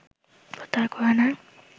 প্রত্যাহার করে নেয়